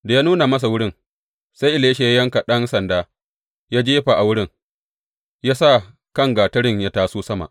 Da ya nuna masa wurin, sai Elisha ya yanka ɗan sanda ya jefa a wurin, ya sa kan gatarin ya taso sama.